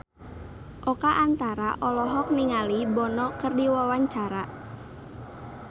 Oka Antara olohok ningali Bono keur diwawancara